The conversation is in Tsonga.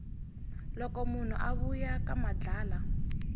loko munhu a vuya ka madlala